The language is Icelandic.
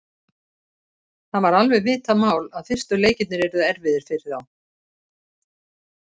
Það var alveg vitað mál að fyrstu leikirnir yrðu erfiðir fyrir þá.